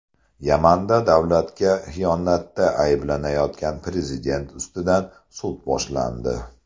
Yamanda davlatga xiyonatda ayblanayotgan prezident ustidan sud boshlandi.